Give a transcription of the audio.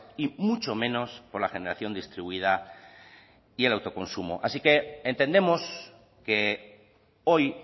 y mucho menos por la generación distribuida y el autoconsumo así que entendemos que hoy